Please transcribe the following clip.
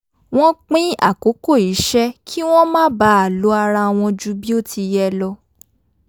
wọ́n pín àkókò iṣẹ́ kí wọ́n má baà lo ara wọn ju bí ó ti yẹ lo